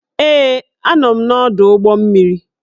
Ee, Anọ m n'ọdụ ụgbọ mmiri